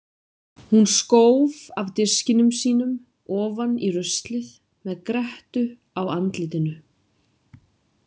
Hún skóf af diskinum sínum ofan í ruslið með grettu á andlitinu.